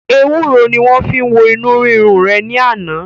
Ewuro ni wọn fi wo inu rirun re ni ana.